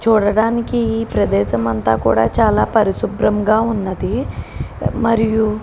చూడడానికి ఈ ప్రదేశం అంత కూడా చాలా పరిశుభ్రం గా ఉన్నది మరియు --